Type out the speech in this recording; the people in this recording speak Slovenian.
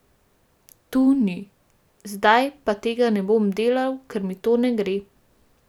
Tu ni: 'Zdaj pa tega ne bom delal, ker mi to ne gre.